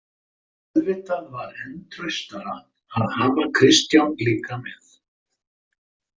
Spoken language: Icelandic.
Auðvitað var enn traustara að hafa Kristján líka með.